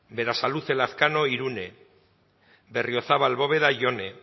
berasaluze lazkano irune berriozabal bóveda jone